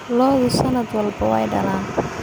Lo'du sannad walba way dhalaan.